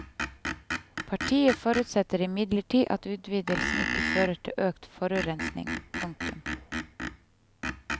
Partiet forutsetter imidlertid at utvidelsen ikke fører til økt forurensing. punktum